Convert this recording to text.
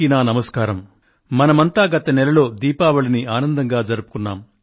గత నెలలో మనమంతా దీపావళిని ఆనందంగా జరుపుకొన్నాము